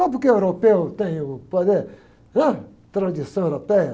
Só porque o europeu tem o poder, né? Tradição europeia...